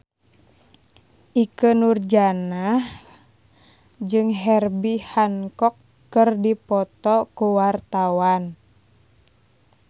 Ikke Nurjanah jeung Herbie Hancock keur dipoto ku wartawan